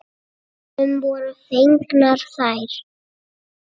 Honum voru fengnar þær.